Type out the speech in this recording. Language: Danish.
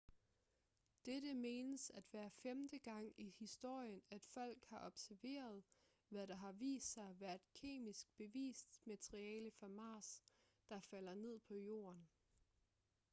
dette menes at være femte gang i historien at folk har observeret hvad der har vist sig at være kemisk bevist materiale fra mars der falder ned på jorden